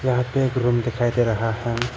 यहां पे एक रूम दिखाई दे रहा है।